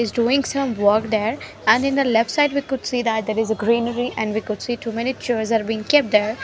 he is doing some work there and in the left side we could see that there is a greenery and we could see too many chairs are been kept there.